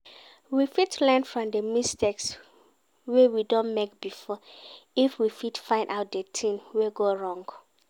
We fit learn from di mistakes wey we don make before if we fit find out di thing wey go wrong